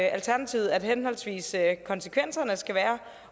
alternativet at henholdsvis konsekvenserne skal være